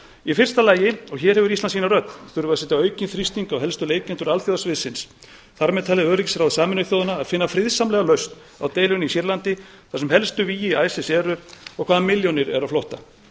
í fyrsta lagi og hér hefur ísland sína rödd þurfum við að setja aukinn þrýsting á helstu leikendur alþjóðasviðsins þar með talið öryggisráð sameinuðu þjóðanna að finna friðsamlega lausn á deilunni í sýrlandi þar sem helstu vígi isis eru og hvaðan milljónir eru á flótta